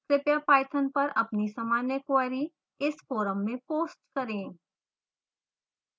कृपया पाइथन पर अपनी सामान्य क्वेरी इस फोरम में पोस्ट करें